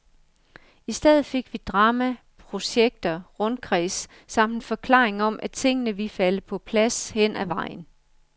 I stedet fik vi drama, projekter, rundkreds, samt en forklaring om, at tingene ville falde på plads hen ad vejen.